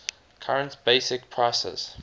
current basic prices